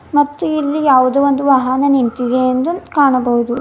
ಮತ್ತು ಇಲ್ಲಿ ಯಾವುದೋ ಒಂದು ವಾಹನ ನಿಂತಿದೆ ಎಂದು ಕಾಣಬಹುದು.